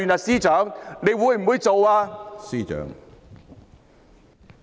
司長會不會這樣做呢？